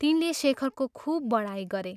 तिनले शेखरको खूब बढाइँ गरे।